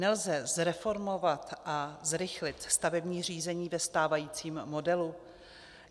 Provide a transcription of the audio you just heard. Nelze zreformovat a zrychlit stavební řízení ve stávajícím modelu?